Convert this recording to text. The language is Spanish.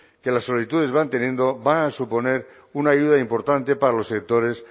que las solitudes van teniendo van a suponer una ayuda importante para los sectores